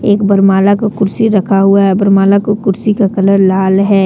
एक बर माला का कुर्सी रखा हुआ है बर माला के कुर्सी का कलर लाल है।